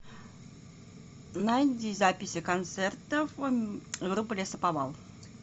найди записи концертов группы лесоповал